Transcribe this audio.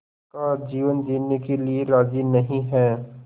का जीवन जीने के लिए राज़ी नहीं हैं